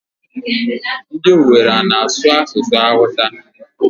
Ndị Owere ana-asụ asụsụ Awụsa?